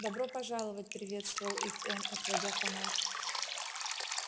добро пожаловать приветствовал их он отводя фонарь